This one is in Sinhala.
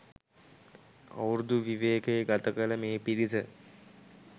අවුරුදු විවේකය ගතකළ මේ පිරිස